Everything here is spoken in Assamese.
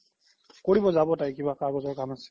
কৰিব জাব তাই কিবা কাগ্জৰ কাম আছে